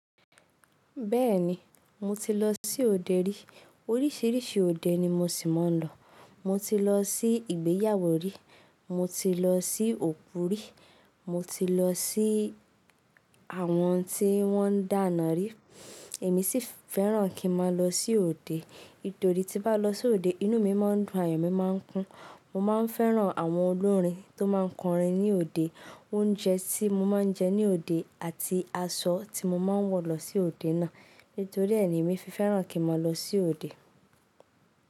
Bẹ́ẹ̀ni, mo ti lọ sí òde rí. Oríṣiríṣi òde ni mo ṣì máa ń lọ. Mo ti lọ sí ìgbéyàwó rí, mo ti lọ sí òkú rí, mo ti lọ sí àwọn tí wọ́n ń dáná rí. Èmi sì fẹ́ràn kí nmá lọ sí òde. Nítorí tí bá lọ sí òde, inú mi máa ń dùn, ayọ̀ mi máa ń kún. Mo máa ń fẹ́ràn àwọn olórin tó máa ń kọrin ní òde, oúnjẹ tí mo máa ń jẹ ní òde àti aṣọ tí mo máa ń wọ̀ lọ sí òde náà. Nítorí ẹ́ ni èmi fi fẹ́ràn kí má lọ sí òde.